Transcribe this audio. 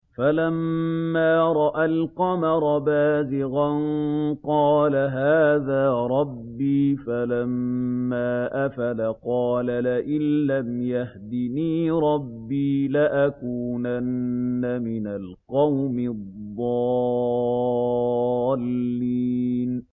فَلَمَّا رَأَى الْقَمَرَ بَازِغًا قَالَ هَٰذَا رَبِّي ۖ فَلَمَّا أَفَلَ قَالَ لَئِن لَّمْ يَهْدِنِي رَبِّي لَأَكُونَنَّ مِنَ الْقَوْمِ الضَّالِّينَ